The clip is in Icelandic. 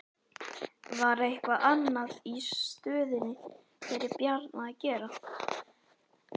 Var eitthvað annað í stöðunni fyrir Bjarna að gera?